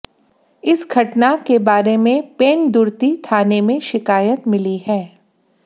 इस घटना के बारे में पेंदुर्ती थाने में शिकायत मिली है